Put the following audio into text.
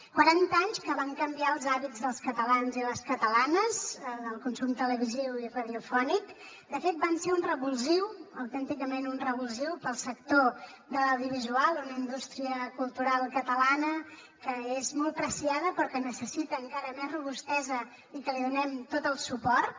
quaranta anys que van canviar els hàbits dels catalans i les catalanes en el consum televisiu i radiofònic de fet van ser un revulsiu autènticament un revulsiu per al sector de l’audiovisual una indústria cultural catalana que és molt preuada però que necessita encara més robustesa i que li donem tot el suport